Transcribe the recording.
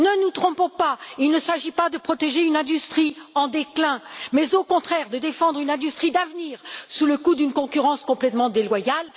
Ne nous trompons pas, il ne s'agit pas de protéger une industrie en déclin mais, au contraire, de défendre une industrie d'avenir sous le coup d'une concurrence complètement déloyale.